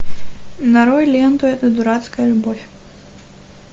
нарой ленту эта дурацкая любовь